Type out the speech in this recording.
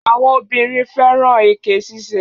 Àwọn obìnrin fẹ́ràn èké ṣíṣe.